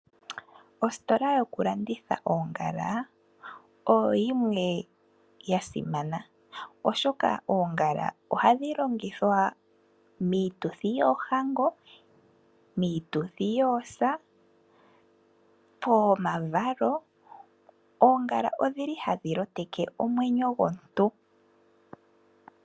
Ositola yokulanditha oongala oyo yimwe ya simana oshoka oongala ohadhi longithwa miituthi yoohango, miituthi yoosa no pomavalo. Oongala odhi li hadhi loteke omwenyo gomuntu.